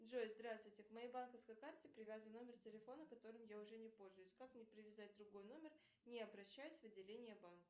джой здравствуйте к моей банковской карте привязан номер телефона которым я уже не пользуюсь как мне привязать другой номер не обращаясь в отделение банка